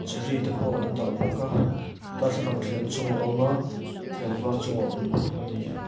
cherry te pawh an dah bawk a darthlalang thleng chungah awm a thleng var chungah awm bawk a ni.